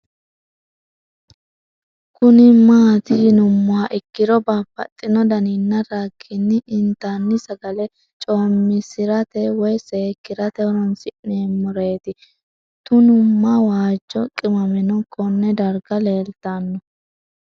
Kuni mati yinumoha ikiro babaxino daninina ragini intani sagale comisirate woyi seekirat horonsine'mo reti tunuma waajo qimameno Kone darga lelitano